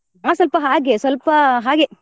ನಾವ್ ಸ್ವಲ್ಪ ಹಾಗೆ ಸ್ವಲ್ಪ ಹಾಗೆ.